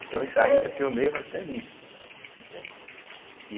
Então Itaim é pioneiro até nisso, né, entende.